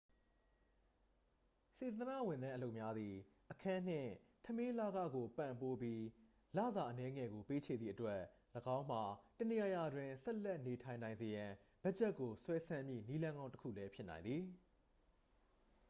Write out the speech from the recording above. စေတနာ့ဝန်ထမ်းအလုပ်များသည် အခန်းနှင့် ထမင်းလခကို ပံ့ပိုးပြီး လစာအနည်းငယ်ကို ပေးချေသည့်အတွက် ၎င်းမှာ တစ်နေရာရာတွင် ဆက်လက်နေထိုင်နိုင်စေရန် ဘတ်ဂျက်ကို ဆွဲဆန့်မည့် နည်းလမ်းကောင်းတစ်ခုလည်းဖြစ်နိုင်သည်